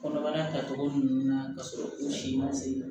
Kɔnɔbara tacogo ɲuman na ka sɔrɔ u si ma se